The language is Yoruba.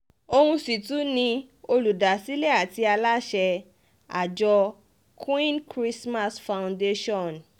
òun sì tún ni olùdásílẹ̀ àti aláṣẹ àjọ queen christmas foundation